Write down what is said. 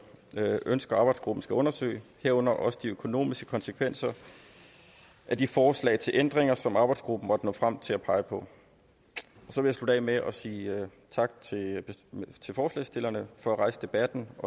ønsker arbejdsgruppen skal undersøge herunder også de økonomiske konsekvenser af de forslag til ændringer som arbejdsgruppen måtte nå frem til at pege på jeg vil slutte af med at sige tak til forslagsstillerne for at rejse debatten